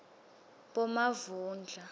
bomavundla